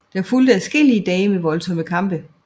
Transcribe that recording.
Der fulgte adskillige dage med voldsomme kampe